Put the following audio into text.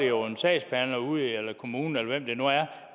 jo en sagsbehandler ude i kommunen eller hvem det nu er